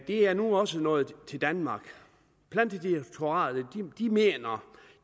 er nu også nået til danmark plantedirektoratet mener